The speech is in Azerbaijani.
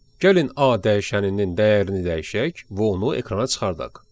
Gəlin A dəyişəninin dəyərini dəyişək və onu ekrana çıxardaq.